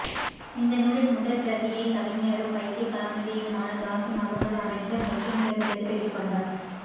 இந்த நூலின் முதற் பிரதியை கவிஞரும் வைத்திய கலாநிதியுமான தாஸிம் அகமது அமைச்சர் ஹக்கீமிடமிருந்து பெற்றுக்கொண்டார்